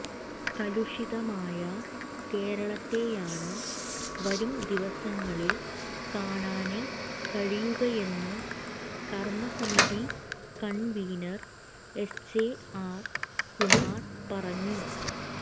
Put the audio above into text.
കലുഷിതമായ കേരളത്തെയാണ് വരുംദിവസങ്ങളിൽ കാണാന് കഴിയുകയെന്ന് കർമസമിതി കൺവീനർ എസ്ജെആർ കുമാർ പറഞ്ഞു